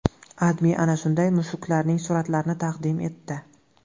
AdMe ana shunday mushuklarning suratlarini taqdim etdi .